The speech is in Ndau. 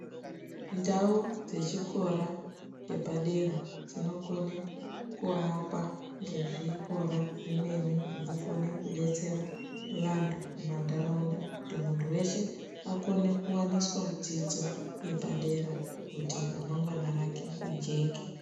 Ndau dzezvikora zvepadera dzinokone kuakwa ngezvikora zvemene zvinokona kudetsera vantu mumantaraunda kuti muntu weshe akone kuwaniswa dzidzo yepadera kuti ramangwana rake rijeke.